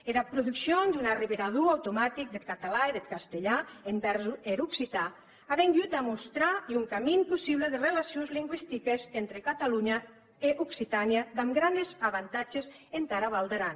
era produccion d’un arrevirador automatic deth catalan e deth castelhan envèrs er occitan a vengut a mostrar un camin possible de relacions lingüistiques entre catalonha e occitània damb granes avantatges entara val d’aran